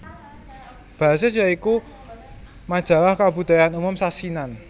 Basis ya iku majalah kabudayan umum sasinan